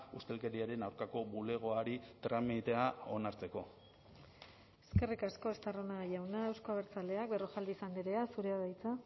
ustelkeriaren aurkako bulegoari tramitea onartzeko eskerrik asko estarrona jauna euzko abertzaleak berrojalbiz andrea zurea da hitza